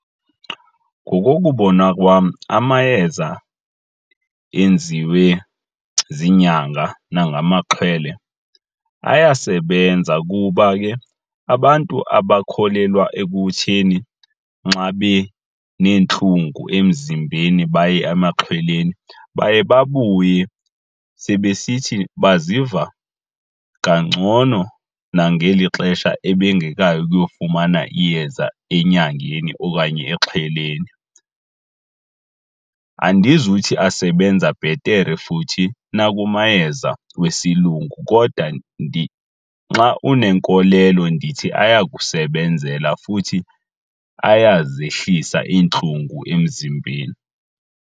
Ngokokubona kwam, amayeza enziwe ziinyanga nangamaxhwele ayasebenza kuba ke abantu abakholelwa ekutheni nxa beneentlungu emzimbeni baye emaxhweleni baye babuye sebesithi baziva kangcono nangeli xesha ebengekayi ukuyofumana iyeza enyangeni okanye exhweleni. Andizuthi asebenza bhetere futhi nakumayeza wesilungu kodwa nxa unenkolelo ndithi ayakusebenzela futhi ayazehlisa iintlungu emzimbeni.